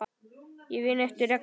Ég vinn eftir reglum.